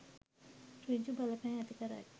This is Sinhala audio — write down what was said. සෘජු බලපෑම් ඇති කරයි